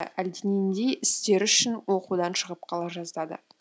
әлденендей істері үшін оқудан шығып қала жаздады